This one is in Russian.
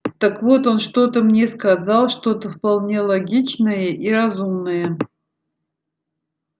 так вот он что-то мне сказал что-то вполне логичное и разумное